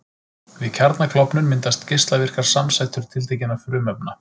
Við kjarnaklofnun myndast geislavirkar samsætur tiltekinna frumefna.